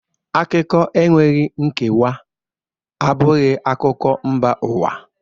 Akụkọ enweghị nkewa abụghị akụkọ mba ụwa